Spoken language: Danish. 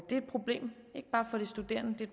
problem ikke bare for de studerende